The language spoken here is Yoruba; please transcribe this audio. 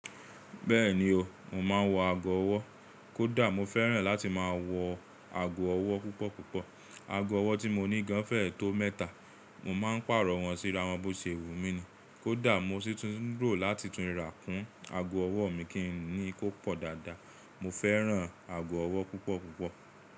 Bẹ́ẹ̀ni o, mo máa ń wọ ago ọwọ́, kò dà mo fẹ́ràn láti máa wọ ago ọwọ́ púpọ̀ púpọ̀. Ago ọwọ́ tí mo ní gan fẹ̀ẹ́ tó mẹ́ta, mo máa ń pààrọ̀ wọ́n sí irawọn bó ṣe wùn mi ni, kò dà mo sí tún rò láti tun rà kún ago ọwọ́ mi kí ń ní í kó pọ̀ dáadáa. Mo fẹ́ràn ago ọwọ́ púpọ̀ púpọ̀.